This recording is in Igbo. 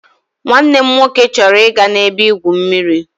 Nwanne m nwoke chọrọ ịga n'ebe-igwụ mmiri.